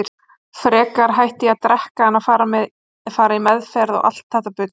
Frekar hætti ég að drekka en að fara í meðferð, og allt þetta bull.